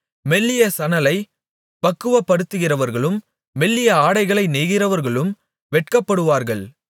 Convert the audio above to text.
மெல்லிய சணலைப் பக்குவப்படுத்துகிறவர்களும் மெல்லிய ஆடைகளை நெய்கிறவர்களும் வெட்கப்படுவார்கள்